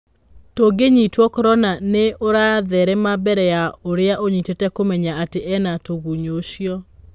tũgunyũtwa Korona nĩ ũratherema mbere ya ũrĩa inyitĩte kũmenya atĩ ena tũgunyũũcio.